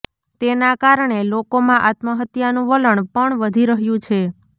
તેના કારણે લોકોમાં આત્મહત્યાનું વલણ પણ વધી રહ્યું છે